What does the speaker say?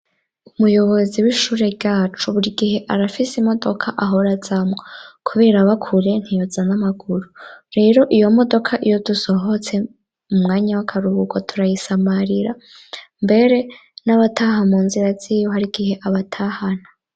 Umuyobozi w'ishure ryacu buri gihe arafise imodoka ahora azamwo kubera aba kure ntiyoza n'amaguru. Rero iyo modoka iyo dusohotse mu mwanya w'akaruhuko turayisamarira, mbere n'abataha mu nzira ziwe hari igihe abatahana.